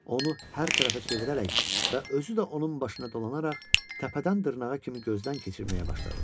Onu hər tərəfə çevirərək və özü də onun başına dolanaraq təpədən dırnağa kimi gözdən keçirməyə başladı.